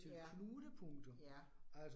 Ja. Ja